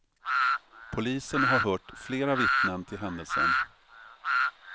Polisen har hört flera vittnen till händelsen.